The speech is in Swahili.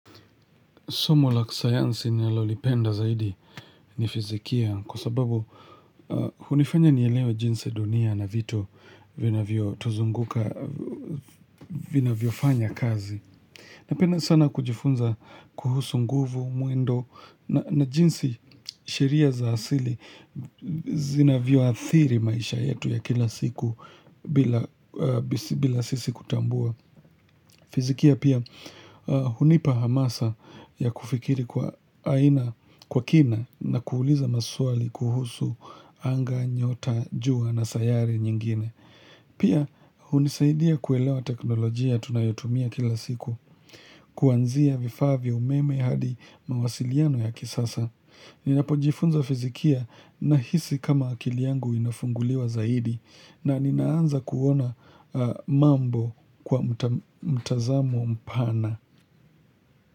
Somo la kisayansi ninalolipenda zaidi ni fizikia kwa sababu hunifanya nielewe jinsi dunia na vitu vinavyotuzunguka vinavyofanya kazi. Napenda sana kujifunza kuhusu nguvu, mwendo na jinsi sheria za asili zinavyoathiri maisha yetu ya kila siku bila sisi kutambua. Fizikia pia hunipa hamasa ya kufikiri kwa aina, kwa kina na kuuliza maswali kuhusu anga, nyota, jua na sayari nyingine Pia hunisaidia kuelewa teknolojia tunayotumia kila siku Kuanzia vifaa vya umeme hadi mawasiliano ya kisasa. Ninapojifunza fizikia nahisi kama akili yangu inafunguliwa zaidi. Na ninaanza kuona mambo kwa mtazamo mpana.